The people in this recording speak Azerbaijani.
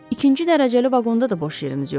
İkinci dərəcəli vaqonda da boş yerimiz yoxdu?